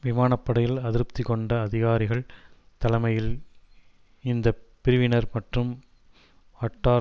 விமான படையில் அதிருப்தி கொண்ட அதிகாரிகள் தலைமையில் இந்தப்பிரிவினர் மற்றும் அட்டார்